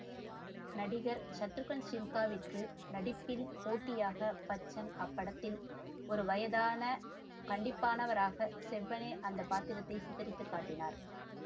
நடிகர் ஷத்ருகன் சின்ஹாவிற்கு நடிப்பில் போட்டியாக பச்சன்அப்படத்தில் ஓருவயதான கண்டிப்பானவராக செவ்வனே அந்த பாத்திரத்தைச் சித்திரித்துக்காட்டினார்